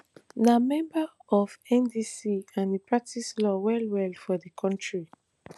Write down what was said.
na member of ndc and e practice law well well for di kontri